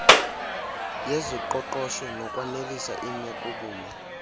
yezoqoqosho nokwanelisa imekobume